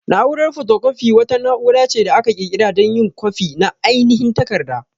Na'urar photocopy wata na'ura ce da aka ƙirƙira dan yin kwafi na ainihin takarda.